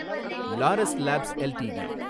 Laurus Labs LTD